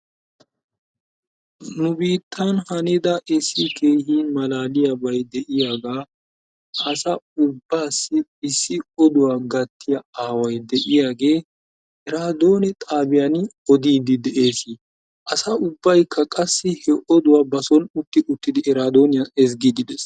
Nu biittan hanida issi heekin malaalliyabay de'iyaagaa asa ubaassi oduwa gattiya issi aaway de'iyaagee eraadoone xaabbiyani odiidi de'ees. Asa ubaykka qassi he oduwa ba sooni utti uttidi eraadoniyan ezgiidi de'ees.